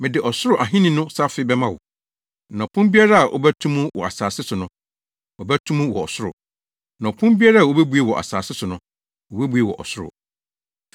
Mede Ɔsoro Ahenni no safe bɛma wo, na ɔpon biara a wobɛto mu wɔ asase so no, wɔbɛto mu wɔ ɔsoro; na ɔpon biara a wubebue wɔ asase so no, wobebue wɔ ɔsoro!”